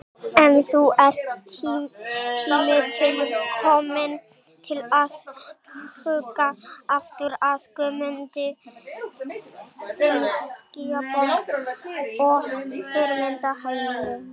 En nú er tími til kominn til að huga aftur að Guðmundi Finnbogasyni og fyrirmyndarheimilinu.